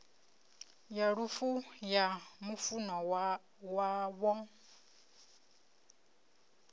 ya lufu ya mufunwa wavho